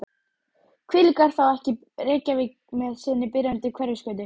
Hvílík er þá ekki Reykjavík með sinni byrjandi Hverfisgötu og